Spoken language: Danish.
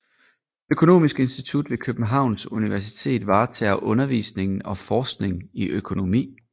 Økonomisk Institut ved Københavns Universitet varetager undervisning og forskning i økonomi